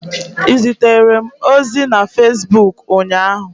Ị zitere m ozi na Fesbuk ụnyaahụ?